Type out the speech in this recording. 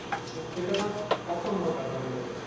সেটা ধর অসম্ভব ব্যাপার হয়ে যাচ্ছে একটা।